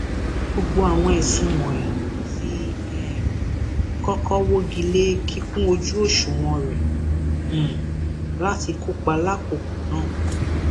gbogbo àwọn ẹsùn wọnyí ti um kọkọ wọgi lé kíkún ojú òṣùwọn rẹ um láti kópa lákòókò ná